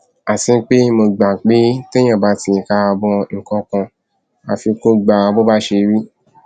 àti pé mo gbà pé téèyàn bá ti kara bọ nǹkan kan àfi kó gbà bó bá ṣe rí